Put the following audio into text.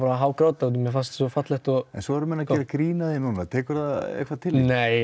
að hágráta af því mér fannst þetta svo fallegt en svo eru menn að gera grín af því núna tekurðu því eitthvað inn nei